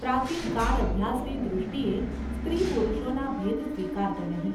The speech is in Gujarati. પ્રાચીન કાળ અભ્યાસની દૃષ્ટિએ સ્ત્રી-પુરુષોના ભેદ સ્વીકારતો નહિ.